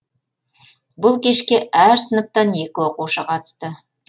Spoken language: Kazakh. бұл кешке әр сыныптан екі оқушы қатысты